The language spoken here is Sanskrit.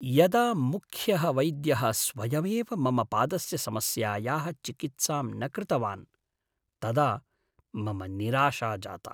यदा मुख्यः वैद्यः स्वयमेव मम पादस्य समस्यायाः चिकित्सां न कृतवान् तदा मम निराशा जाता।